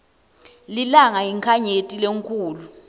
lilanga yinkhanyeti lenkhulu